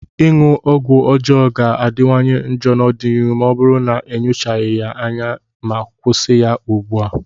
ịṅụ ọgwụ ọjọọ ga-adịwanye njọ n'ọdịnihu ma ọ bụrụ na enyochaghị ya anya ma kwụsị ya ugbua.